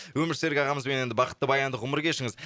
өмірсерік ағамызбен енді бақытты баянды ғұмыр кешіңіз